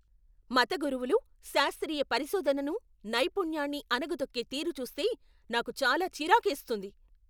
మత గురువులు శాస్త్రీయ పరిశోధనను, నైపుణ్యాన్ని అణగదొక్కే తీరు చూస్తే నాకు చాలా చిరాకేస్తుంది.